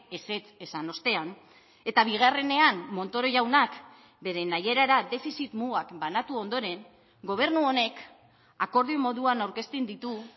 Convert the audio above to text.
ezetz esan ostean eta bigarrenean montoro jaunak bere nahierara defizit mugak banatu ondoren gobernu honek akordio moduan aurkezten ditu